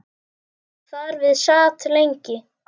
Þar við sat lengi.